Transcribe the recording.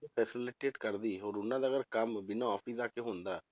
facilitate ਕਰਦੀ ਹੋਰ ਉਹਨਾਂ ਦਾ ਅਗਰ ਕੰਮ ਬਿਨਾਂ office ਜਾ ਕੇ ਹੁੰਦਾ,